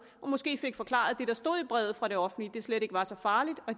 og måske fik forklaret det der stod i brevet fra det offentlige det slet ikke var så farligt og